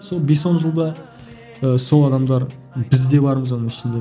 сол бес он жылда ы сол адамдар бізде бармыз оның ішінде